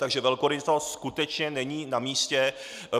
Takže velkorysost skutečně není na místě.